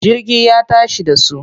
Jirgi ya tashi da su.